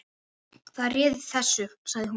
Það réð þessu, segir hún.